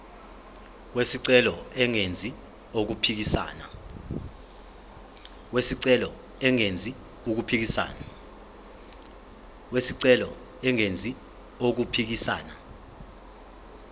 wesicelo engenzi okuphikisana